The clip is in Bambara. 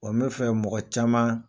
Ɔ bɛ fɛ mɔgɔ caman